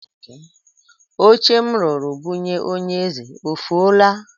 Oche m rụrụ bunye onye eze o fuola?